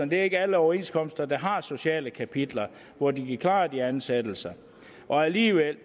det ikke er alle overenskomster der har sociale kapitler hvor de kan klare de ansættelser og alligevel